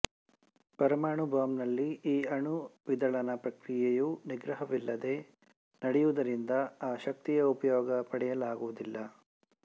ಪರಮಾಣು ಬಾಂಬ್ ನಲ್ಲಿ ಈ ಅಣು ವಿದಳನ ಪ್ರಕ್ರಿಯೆಯು ನಿಗ್ರಹವಿಲ್ಲದೆ ನಡೆಯುವುದರಿಂದ ಅ ಶಕ್ತಿಯ ಉಪಯೋಗ ಪಡೆಯಲಾಗುವುದಿಲ್ಲ